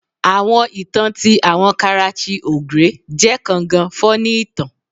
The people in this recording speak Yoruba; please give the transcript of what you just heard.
Awọn itan ti awọn Karachi Ogre je kan gan funny itan